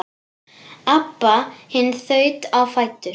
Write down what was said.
Abba hin þaut á fætur.